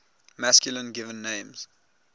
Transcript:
masculine given names